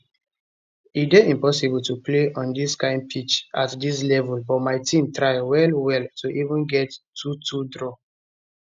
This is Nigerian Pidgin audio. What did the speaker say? e dey impossible to play on dis kind pitch at dis level but my team try well well to even get a 22 draw